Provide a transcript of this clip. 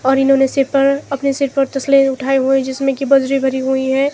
और इन्होंने सिर पर अपने सिर पर तसले उठाए हुए हैं जिसमें की बजरी भरी हुई है।